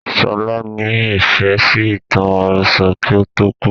Sọlá ni Ifẹ̀ sì ìtàn àròsọ̀ kí ó tó kú